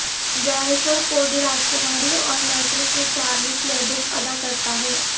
Jennifer Cody راجکماری اور میڑک میں چارلس لیبف ادا کرتا ہے